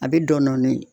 A bɛ dɔni